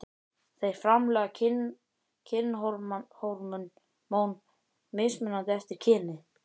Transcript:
Þeir framleiða kynhormón mismunandi eftir kyni.